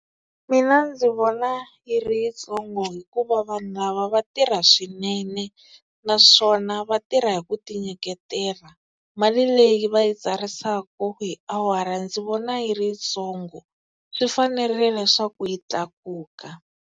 Mina ndzi vona yi ri yitsongo hikuva vanhu lava va tirha swinene, naswona va tirha hi ku tinyiketela. Mali leyi va yi tsarisaka hi awara ndzi vona yi ri yitsongo swi fanerile leswaku yi tlakuka.